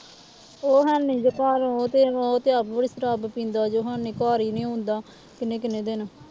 ਉਹ ਹੈਨੀ ਜੀ ਘਰ ਉਹ ਤੇ ਉਹ ਤੇ ਬੜੀ ਸ਼ਰਾਬ ਪੀਂਦਾ ਜੇ ਹੈਨੀ ਘਰ ਹੀ ਨੀ ਆਉਂਦਾ ਕਿੰਨੇ ਕਿੰਨੇ ਦਿਨ।